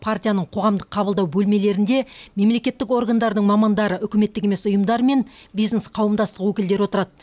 партияның қоғамдық қабылдау бөлмелерінде мемлекеттік органдардың мамандары үкіметтік емес ұйымдар мен бизнес қауымдастық өкілдері отырады